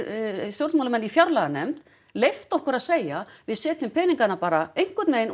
stjórnmálamenn í fjárlaganefnd leyft okkur að segja við setjum peningana bara einhvern veginn